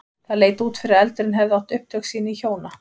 Það leit út fyrir að eldurinn hefði átt upptök sín í hjóna